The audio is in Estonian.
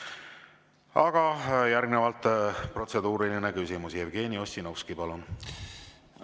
Aga järgnevalt protseduuriline küsimus, Jevgeni Ossinovski, palun!